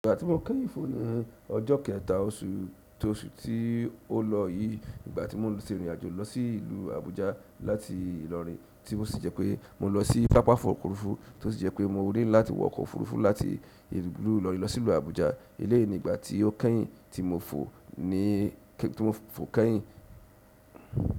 Ìgbà tí mo kẹ́yìn fọ ní ọjọ́ kẹta oṣù tóòṣù tí ó lọ yìí, ìgbà tí mo lọ ṣe ìrìn àjò lọ sí ìlú Àbújá láti Ìlọrin, tí ó sì jẹ́ pé mo lọ sí pápá ọkọ̀ òfurufú tí ó sì jẹ́ pé mo ré láti wọ ọkọ̀ òfurufú láti ìlú Ìlọrin lọ sí ìlú Àbújá elénìí gbà tí ó kẹ́yìn tí mo fò ní kẹ́ tí mo fò kẹ́yìn.